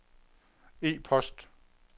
e-post